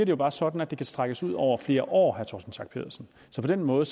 jo bare sådan at det kan strækkes ud over flere år torsten schack pedersen så på den måde